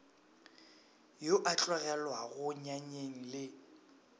yo a tlogelwago nyanyeng le